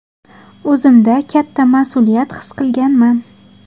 O‘zimda katta mas’uliyat his qilganman.